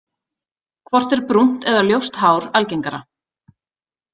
Hvort er brúnt eða ljóst hár algengara?